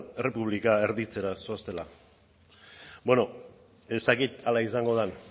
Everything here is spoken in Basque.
errepublika erditzera doazela bueno ez dakit hala izango den